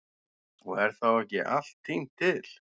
Og er þá ekki allt tínt til.